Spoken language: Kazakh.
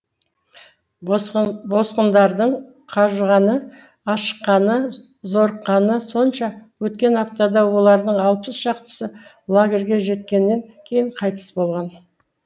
босқындардың қажығаны ашыққаны зорыққаны сонша өткен аптада олардың алпыс шақтысы лагерьге жеткеннен кейін қайтыс болған